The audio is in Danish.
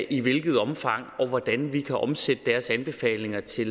i hvilket omfang og hvordan vi kan omsætte deres anbefalinger til